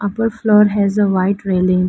Upper floor has a white railing.